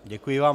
Děkuji vám.